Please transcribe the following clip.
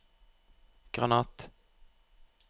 granat